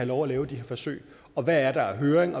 lov at lave de her forsøg i og hvad der er af høring